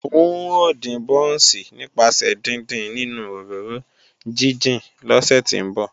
N ó dín bọ́ọ̀nsì nípasẹ̀ díndín nínú òróró jíjìn lọ́sẹ̀ tí ń bọ̀